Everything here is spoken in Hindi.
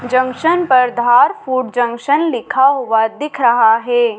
जंक्शन पर धार फूड जंक्शन लिखा हुआ दिख रहा है।